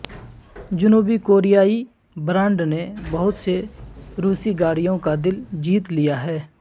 جنوبی کوریائی برانڈ نے بہت سے روسی گاڑیوں کا دل جیت لیا ہے